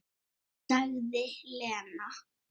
Sagði Lena.